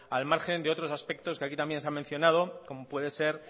al margen de otros aspectos que aquí también se han mencionado como pueden ser